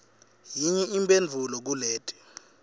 yinye imphendvulo kuleti